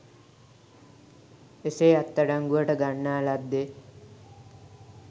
එසේ අත්අඩංගුවට ගන්නා ලද්දේ